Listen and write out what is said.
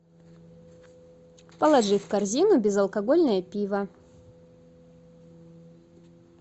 положи в корзину безалкогольное пиво